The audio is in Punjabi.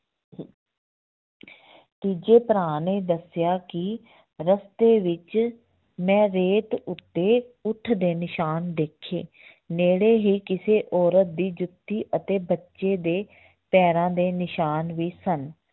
ਤੀਜੇ ਭਰਾ ਨੇ ਦੱਸਿਆ ਕਿ ਰਸਤੇ ਵਿੱਚ ਮੈਂ ਰੇਤ ਉੱਤੇ ਊਠ ਦੇ ਨਿਸ਼ਾਨ ਦੇਖੇ ਨੇੜੇ ਹੀ ਕਿਸੇ ਔਰਤ ਦੀ ਜੁੱਤੀ ਅਤੇ ਬੱਚੇ ਦੇ ਪੈਰਾਂ ਦੇ ਨਿਸ਼ਾਨ ਵੀ ਸਨ